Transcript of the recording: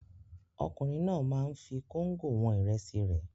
Ọkùnrin náà máa ń fi kóńgò wọn ìrẹsì rẹ̀.